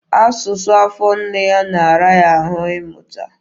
Asụsụ afọ nne ya na-ara ya ahụ ịmụta.